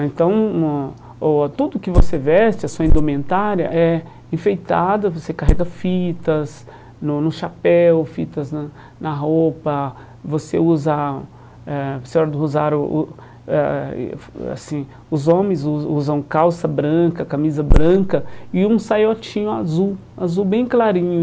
Ah Então, tudo que você veste, a sua indumentária, é enfeitada, você carrega fitas no no chapéu, fitas na na roupa, você usa eh... os homens usam calça branca, camisa branca e um saiotinho azul, azul bem clarinho.